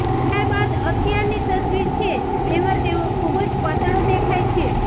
ત્યારબાદ અત્યારની તસવીર છે જેમાં તેઓ ખુબ જ પાતળો દેખાય છે